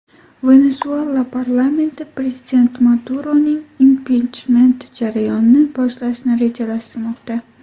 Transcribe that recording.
Venesuela parlamenti prezident Maduroning impichment jarayonini boshlashni rejalashtirmoqda.